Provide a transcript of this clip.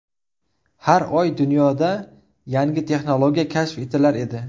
Har oy dunyoda yangi texnologiya kashf etilar edi.